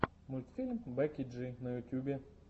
мультфильм бекки джи на ютубе